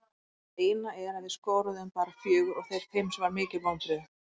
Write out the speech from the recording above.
Það eina er að við skoruðum bara fjögur og þeir fimm sem var mikil vonbrigði.